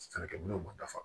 Sɛnɛkɛ minɛnw ma dafa